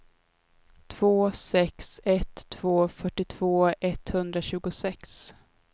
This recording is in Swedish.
två sex ett två fyrtiotvå etthundratjugosex